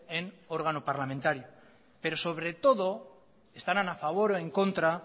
en órgano parlamentario pero sobre todo estarán a favor o en contra